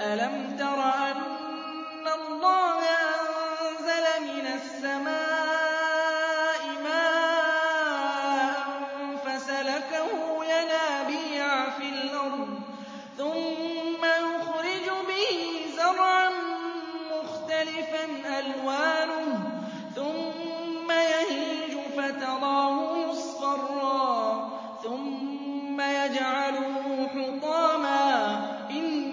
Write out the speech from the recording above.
أَلَمْ تَرَ أَنَّ اللَّهَ أَنزَلَ مِنَ السَّمَاءِ مَاءً فَسَلَكَهُ يَنَابِيعَ فِي الْأَرْضِ ثُمَّ يُخْرِجُ بِهِ زَرْعًا مُّخْتَلِفًا أَلْوَانُهُ ثُمَّ يَهِيجُ فَتَرَاهُ مُصْفَرًّا ثُمَّ يَجْعَلُهُ حُطَامًا ۚ إِنَّ